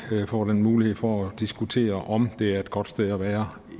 får den mulighed for at diskutere om det er et godt sted at være